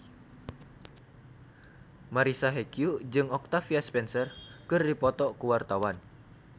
Marisa Haque jeung Octavia Spencer keur dipoto ku wartawan